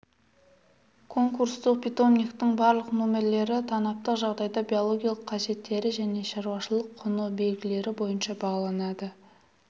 конкурстық питомниктің барлық номерлері танаптық жағдайда биологиялық қасиеттері және шаруашылық құнды белгілері бойынша бағаланады